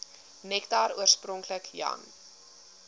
nektar oorspronklik jan